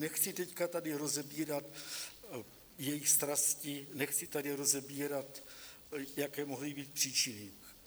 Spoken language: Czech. Nechci teď tady rozebírat jejich strasti, nechci tady rozebírat, jaké mohly být příčiny.